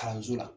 Kalanso la